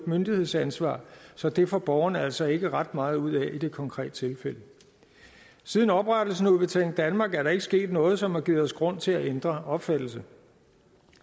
myndighedsansvar så det får borgerne altså ikke ret meget ud af i det konkrete tilfælde siden oprettelsen af udbetaling danmark er der ikke sket noget som har givet os grund til at ændre opfattelse